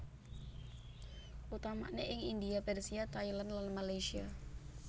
Utamane ing India Persia Thailand lan Malaysia